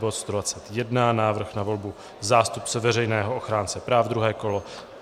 Bod 121, Návrh na volbu zástupce veřejného ochránce práv, druhé kolo.